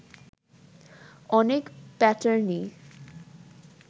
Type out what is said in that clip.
অনেক প্যাটার্নই